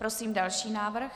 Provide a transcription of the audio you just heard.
Prosím další návrh.